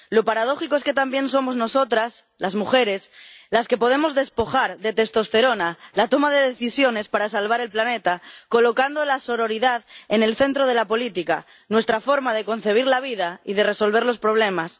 Lo paradójico es que también somos nosotras, las mujeres, las que podemos despojar de testosterona la toma de decisiones para salvar el planeta, colocando la sororidad en el centro de la política, nuestra forma de concebir la vida y de resolver los problemas.